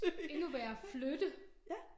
Endnu værre flytte